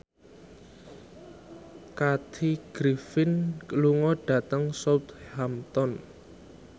Kathy Griffin lunga dhateng Southampton